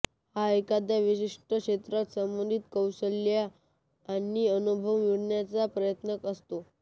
हा एखाद्या विशिष्ट क्षेत्रात संबंधित कौशल्ये आणि अनुभव मिळवण्याचा प्रयत्न असतो